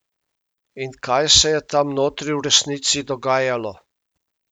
In kaj se je tam notri v resnici dogajalo?